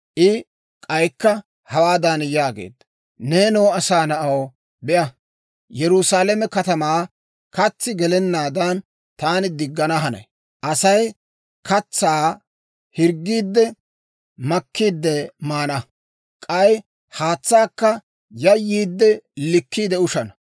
I k'aykka hawaadan yaageedda; «Neenoo asaa na'aw, be'a; Yerusaalame katamaa katsi gelennaadan, taani diggana hanay. Asay katsaa hirggiidde, makkiide maana; k'ay haatsaakka yayyiidde, likkiide ushana.